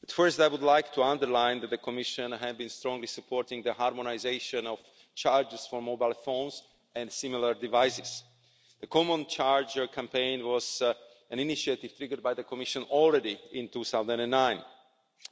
But, first, I would like to underline that the Commission has strongly supported the harmonisation of chargers for mobile phones and similar devices. The common charger campaign was an initiative triggered by the Commission back in 2009